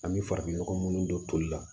An bɛ farafinnɔgɔ minnu don toli la